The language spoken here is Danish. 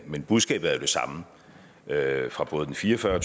men budskabet er jo det samme fra både den fire og fyrre